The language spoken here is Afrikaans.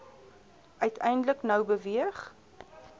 uiteindelik nou beweeg